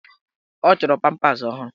Ọ chọrọ pampas ọhụrụ.